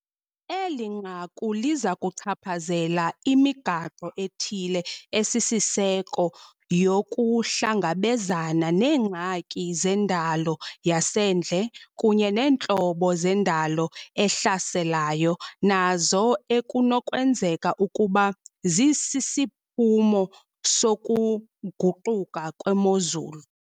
Eli nqaku liza kuchaphazela imigaqo ethile esisiseko yokuhlangabezana neengxaki zendalo yasendle kunye neentlobo zendalo ehlaselayo nazo ekunokwenzeka ukuba zisisiphumo sokuguquka kwemozulu.